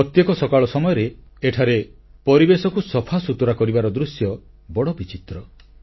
ପ୍ରତ୍ୟେକ ସକାଳ ସମୟରେ ଏଠାରେ ପରିବେଶକୁ ସଫାସୁତୁରା କରିବାର ଦୃଶ୍ୟ ବଡ଼ ବିଚିତ୍ର